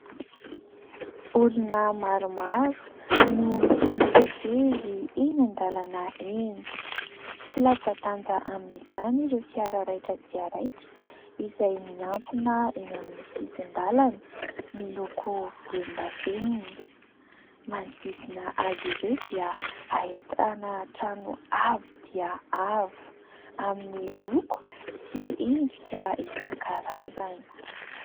Olona maromaro no mifamezivezy eny an-dalana eny. Tsy latsa-danja amin'izany ireo fiara raitra dia raitra izay miantsona eny amin'ny sisin-dàlana miloko volondavenona ; manodidina azy ireo dia ahitana trano avo dia avo amin'ny loko sy endrika isan-karazany.